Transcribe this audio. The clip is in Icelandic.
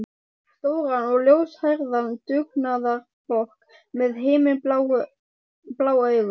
Stóran og ljóshærðan dugnaðarfork með himinblá augu.